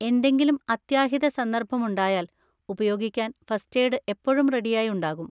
എന്തെങ്കിലും അത്യാഹിത സന്ദർഭം ഉണ്ടായാൽ ഉപയോഗിക്കാൻ ഫസ്റ്റ് എയ്ഡ് എപ്പോഴും റെഡിയായി ഉണ്ടാകും.